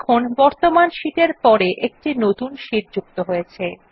দেখুন বর্তমান শীট এর পর একটি নতুন শীট যুক্ত হয়েছে